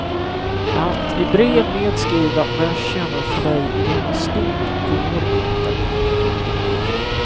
Att i brev nedskriva vad jag känner för dig i denna stund går inte.